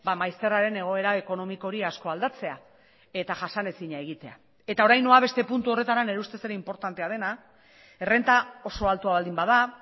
maizterraren egoera ekonomiko hori asko aldatzea eta jasanezina egitea eta orain noa beste puntu horretara nire ustez ere inportantea dena errenta oso altua baldin bada